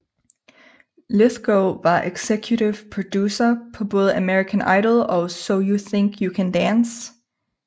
Lythgoe var executive producer på både American Idol og So You Think You Can Dance